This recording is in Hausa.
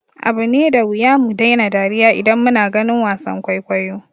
Yana da wuya mu daina dariya idan muna ganin wasan kwaikwayo.